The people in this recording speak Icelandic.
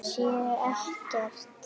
Sé ekkert.